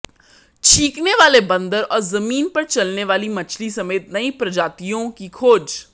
छींकने वाले बंदर और जमीन पर चलने वाली मछली समेत नई प्रजातियों की खोज